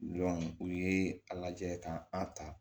u ye a lajɛ ka an ta